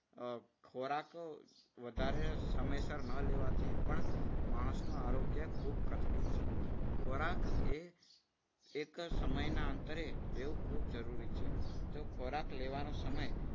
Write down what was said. અમ ખોરાક વધારે સમયસર ન લેવાથી પણ માણસનું આરોગ્ય ખૂબ લથડું છે. ખોરાક એ એક સમયના અંતરે લેવો ખૂબ જરૂરી છે. જો ખોરાક લેવાનો સમય